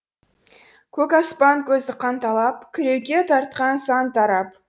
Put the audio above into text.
көк аспан көзі қанталап кіреуке тартқан сан тарап